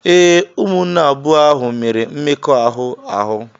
Ee, ụmụnne abụọ ahụ mere mmekọahụ ahụ.